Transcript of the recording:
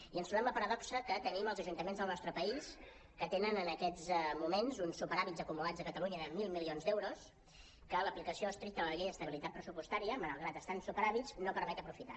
i ens trobem la paradoxa que tenim els ajuntaments del nostre país que tenen en aquests moments uns superàvits acumulats a catalunya de mil milions d’euros que l’aplicació estricta de la llei d’estabilitat pressupostària malgrat que estan en superàvit no permet aprofitar